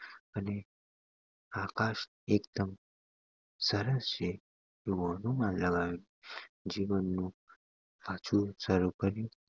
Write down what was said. અને આભાસ એક દમ સરળ છે એવું અનુમાન લગાવ્યું જેનું પાછુ શરુ કર્યું